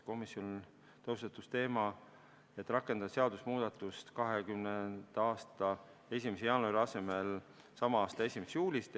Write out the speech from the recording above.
Komisjonis tõusetus teema, et rakendada seadusemuudatust 2020. aasta 1. jaanuari asemel sama aasta 1. juulist.